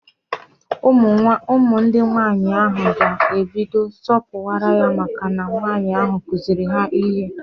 Ụmụ di nwaanyị ahụ ga ebido sọpuwara ya maka na nwaanyi ahụ kuziiri ha ihe